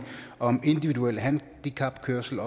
om individuel handicapkørsel